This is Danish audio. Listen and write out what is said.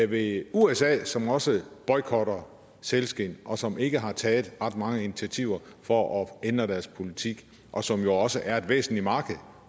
ved usa som også boykotter sælskind og som ikke har taget ret mange initiativer for at ændre deres politik og som jo også er et væsentligt marked